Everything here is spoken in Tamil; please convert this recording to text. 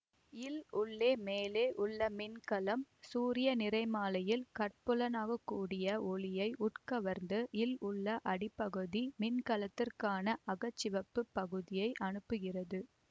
இல் உள்ளே மேலே உள்ள மின்கலம் சூரிய நிறமாலையில் கட்புலனாக கூடிய ஒளியை உட்கவர்ந்து இல் உள்ள அடிப்பகுதி மின்கலத்திற்காக அகச்சிவப்புப் பகுதியை அனுப்புகிறது